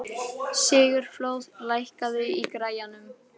Sigurfljóð, lækkaðu í græjunum.